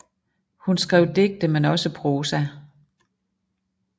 Hun skrev digte men også prosa